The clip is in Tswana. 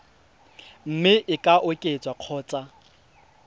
mme e ka oketswa kgotsa